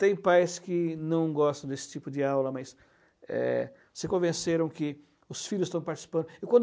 Tem pais que não gostam desse tipo de aula, mas é se convenceram que os filhos estão participando. E quando